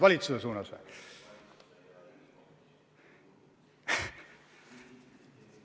Valitsuse pihta või?